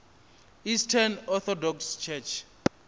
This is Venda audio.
eastern orthodox church